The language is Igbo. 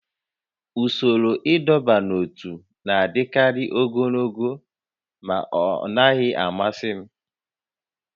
Usoro ịdọba n'ótú na-adịkarị ogologo ma ọ naghị amasị m